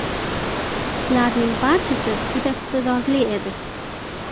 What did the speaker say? Ularning barchasi juda iqtidorli edi.